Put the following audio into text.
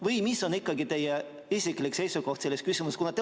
Või milline on ikkagi teie isiklik seisukoht selles küsimuses?